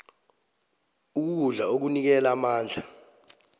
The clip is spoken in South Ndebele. ukudla okunikela amandla